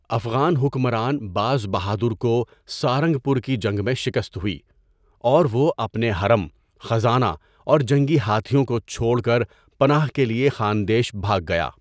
افغان حکمران باز بہادر کو سارنگ پور کی جنگ میں شکست ہوئی اور وہ اپنے حرم، خزانہ اور جنگی ہاتھیوں کو چھوڑ کر پناہ کے لیے خاندیش بھاگ گیا۔